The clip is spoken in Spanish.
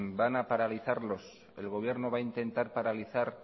van a paralizarlos el gobierno va a intentar paralizar